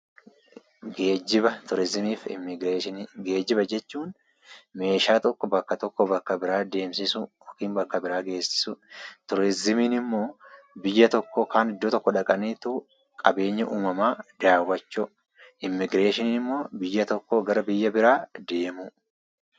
Geejjiba jechuun meeshaa tokko bakka tokkoo bakka biraa deemsisuu yookaan bakka biraa geessisuudha. Turizimiin ammoo biyya tokko yookaan bakka tokko dhaqanii qabeenya uumamaa daawwachuudha. Immigreeshiniin ammoo biyya tokkoo gara biyya biraa deemudha.